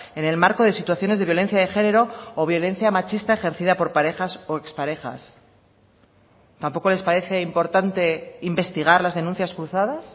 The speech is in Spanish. en el marco de situaciones de violencia de género o violencia machista ejercida por parejas o exparejas tampoco les parece importante investigar las denuncias cruzadas